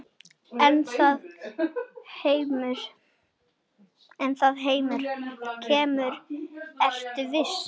En það kemur, vertu viss.